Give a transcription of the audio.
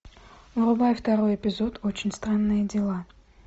врубай второй эпизод очень странные дела